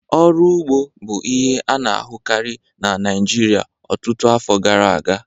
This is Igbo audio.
Ọrụ ugbo bụ ihe a na-ahụkarị na Naịjirịa ọtụtụ afọ gara aga